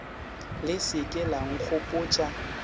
le se ke la nkgopotša